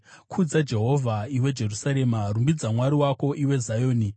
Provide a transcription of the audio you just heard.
Kudza Jehovha, iwe Jerusarema; rumbidza Mwari wako, iwe Zioni,